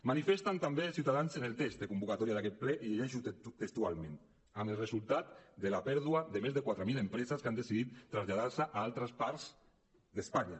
manifesten també ciutadans en el text de convocatòria d’aquest ple i ho llegeixo textualment amb el resultat de la pèrdua de més de quatre mil empreses que han decidit traslladar se a altres parts d’espanya